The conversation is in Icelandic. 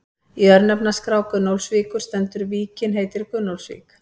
Í örnefnaskrá Gunnólfsvíkur stendur: Víkin heitir Gunnólfsvík.